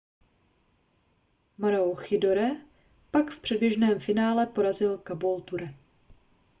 maroochydore pak v předběžném finále porazil caboolture